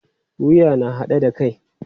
Wuya na haɗe da kai.